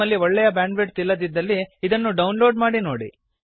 ನಿಮ್ಮಲ್ಲಿ ಒಳ್ಳೆಯ ಬ್ಯಾಂಡ್ವಿಡ್ತ್ ಇಲ್ಲದಿದ್ದಲ್ಲಿ ಇದನ್ನು ಡೌನ್ಲೋಡ್ ಮಾಡಿ ನೋಡಿ